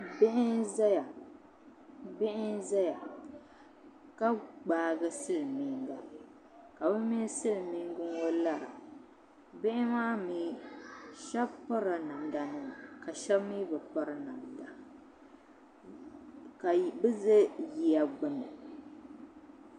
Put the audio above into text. Bihi n ʒɛya ka gbaagi silmiinga ka bi mini silmiingi ŋɔ lara bihi maa mii shab pirila namda nima ka shab mii bi piri ka bi ʒɛ yiya gbuni